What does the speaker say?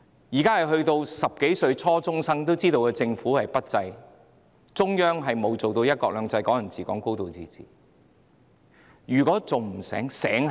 現在10多歲的初中生也知道政府不濟，中央未有真正實行"一國兩制"、"港人治港"、"高度自治"，他們還不醒覺嗎？